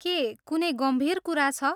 के कुनै गम्भीर कुरा छ?